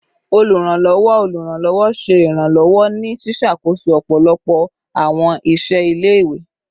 Oluranlọwọ Oluranlọwọ ṣe iranlọwọ ni ṣiṣakoso ọpọlọpọ awọn iṣẹ ile-iwe